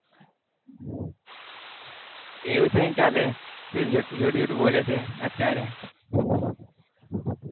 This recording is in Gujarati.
એવું થોડીને ચાલે તું જુઠું જુઠું બોલે છે અત્યારે.